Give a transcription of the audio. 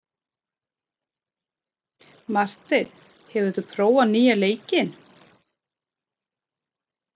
Marteinn, hefur þú prófað nýja leikinn?